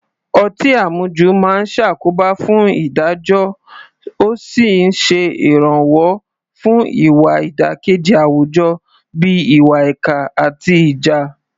Ọtí àmujù máa ń ṣàkóbá fún ìdájọ́ ó sì ń ṣe ìrànwọ́ fún ìwà ìdàkejì àwùjọ bíi ìwà ìkà àti ìjà.